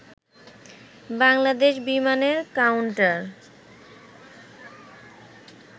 বাংলাদেশ বিমানের কাউন্টার